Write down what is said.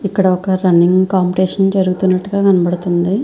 ఇక్కడ ఒక running competition జరుగుతున్నట్టుగా కనబడుతుంది.